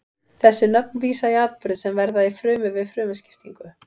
Þessi nöfn vísa í atburði sem verða í frumu við frumuskiptingu.